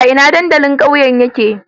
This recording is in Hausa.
A ina dandalin ƙauyen nan yake?